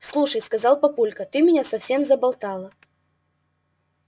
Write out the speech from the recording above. слушай сказал папулька ты меня совсем заболтала